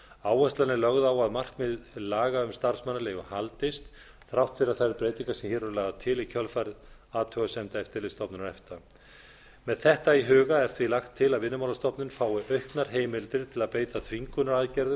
áherslan er lögð á að markmið laga um starfsmannaleigu haldist þrátt fyrir að þær breytingar sem hér eru lagðar til í kjölfarið athugasemda eftirlitsstofnunar efta með þetta í huga er því lagt til að vinnumálastofnun fái auknar heimildir til að beita þvingunaraðgerðum